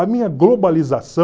A minha